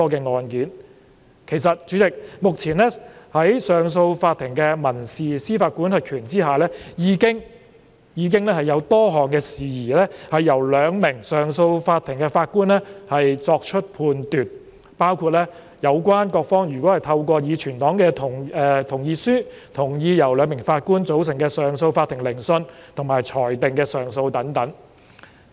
主席，其實目前在上訴法庭的民事司法管轄權之下，已經有多項事宜由兩名法官組成的上訴法庭作出判斷，包括有關各方如果透過已存檔的同意書同意由兩名法官組成的上訴法庭聆訊和裁定的上訴等。